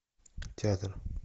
театр